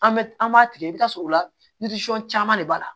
An bɛ an b'a tigɛ i bɛ t'a sɔrɔ o la caman de b'a la